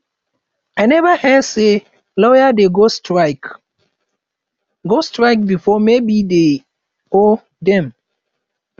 i never hear say lawyers dey go strike go strike before maybe dey or dem